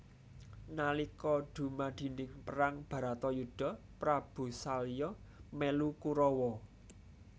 Nalika dumadine perang baratayuda Prabu salya melu Kurawa